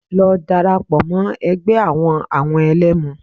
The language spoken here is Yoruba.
Lọ dara pọ̀ mọ́ ẹgbẹ́ àwọn àwọn ẹ̀lẹ́mu